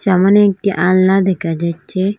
সামোনে একটি আলনা দেকা যাচ্ছে।